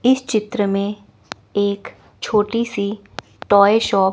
इस चित्र में एक छोटी सी टॉय शॉप --